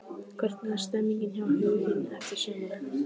Hvernig er stemningin hjá Huginn fyrir sumarið?